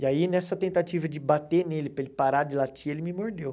E aí, nessa tentativa de bater nele, para ele parar de latir, ele me mordeu.